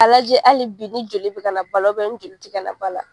A lajɛ halibi ni joli bɛ ka na ba la ni joli tɛ ka na ba la.